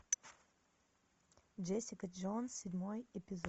джессика джонс седьмой эпизод